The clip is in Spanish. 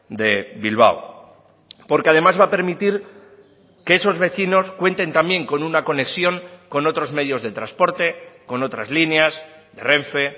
de bilbao porque además va a permitir que esos vecinos cuenten también con una conexión con otros medios de transporte con otras líneas de renfe